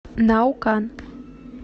наукан